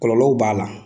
Kɔlɔlɔw b'a la